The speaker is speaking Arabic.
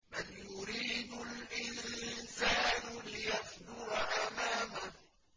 بَلْ يُرِيدُ الْإِنسَانُ لِيَفْجُرَ أَمَامَهُ